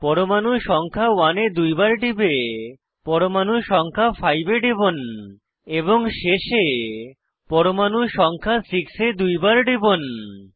পরমাণু সংখ্যা 1 এ দুইবার টিপে পরমাণু সংখ্যা 5 এ টিপুন এবং শেষে পরমাণু সংখ্যা 6 এ দুইবার টিপুন